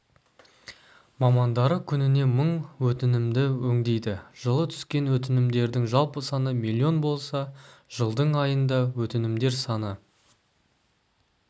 мамандары күніне мың өтінімді өңдейді жылы түскен өтінімдердің жалпы саны миллион болса жылдың айында өтінімдер саны